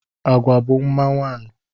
Agwa bụ mma nwaanyị